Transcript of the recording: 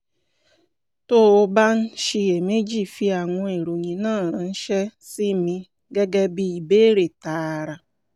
tó o bá ń ṣiyèméjì fi àwọn ìròyìn náà ránṣẹ́ sí mi gẹ́gẹ́ bí ìbéèrè tààrà